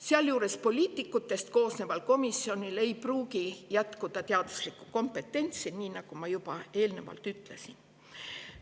Samuti ei pruugi poliitikutest koosneval komisjonil jätkuda teaduslikku kompetentsi, nii nagu ma eelnevalt ütlesin.